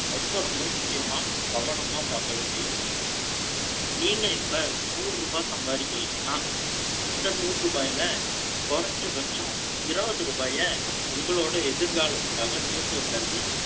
ரொம்ப ரொம்ப முக்கியமா, கவனமா பார்க்க வேண்டிய விஷயம். நீங்க இப்ப, நூறு ரூபாய் சம்பாதிக்கிறீங்கன்னா, அந்த நூறு ரூபாய்ல குறைஞ்சபட்சம் இருபது ரூபாயை, உங்களோட எதிர்காலத்துக்காக சேர்த்து வைக்கிறது,